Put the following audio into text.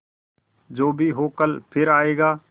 जो भी हो कल फिर आएगा